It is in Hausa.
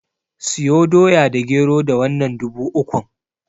Siyo Doya da Gero da wannan dubu ukun.